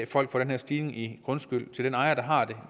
for den her stigning i grundskylden